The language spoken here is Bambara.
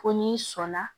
Ko n'i sɔnna